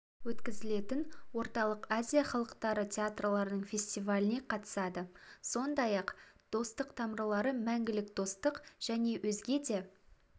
өткізілетін орталық азия халықтары театрларының фестиваліне қатысады сондай-ақ достық тамырлары мәңгілік достық және өзге де